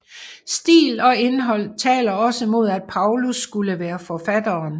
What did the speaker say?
Stil og indhold taler også mod at Paulus skulle være forfatteren